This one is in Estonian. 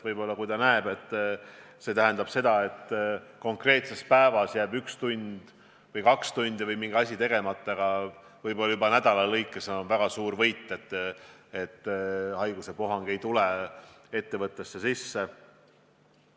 Võib-olla ettevõtja näeb, et konkreetses päevas jääb ühe või kahe tunni jagu tööd või mingi asi tegemata, aga võib-olla nädala lõikes on see juba väga suur võit, et haiguspuhang ei ole ettevõttesse sisse tulnud.